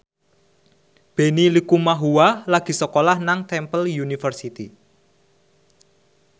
Benny Likumahua lagi sekolah nang Temple University